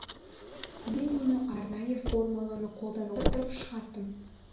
мен мұны арнайы формуланы қолдана отырып шығардым